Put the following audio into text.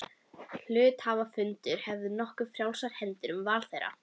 Hluthafafundur hefur því nokkuð frjálsar hendur um val þeirra.